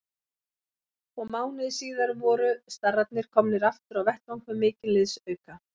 Og mánuði síðar voru starrarnir komnir aftur á vettvang með mikinn liðsauka.